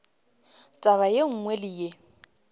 taba ye nngwe le ye